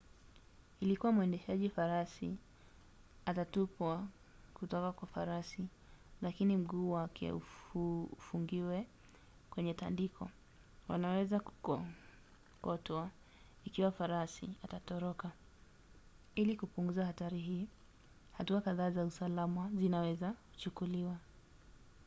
ikiwa mwendeshaji farasi atatupwa kuotka kwa farasi lakini mguu wake ufungiwe kwenye tandiko wanaweza kukokotwa ikiwa farasi atatoroka. ili kupunguza hatari hii hatua kadhaa za usalama zinaweza kuchukuliwa